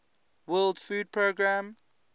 world food programme